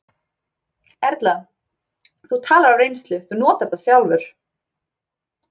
Erla: Þú talar af reynslu, þú notar þetta sjálfur?